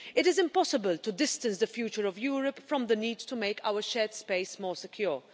It is impossible to distance the future of Europe from the need to make our shared space more secure.